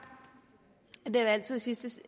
at det altid i sidste